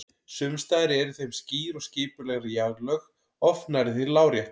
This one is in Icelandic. Sums staðar eru í þeim skýr og skipuleg jarðlög, oft nærri því lárétt.